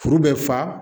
Kuru bɛ fa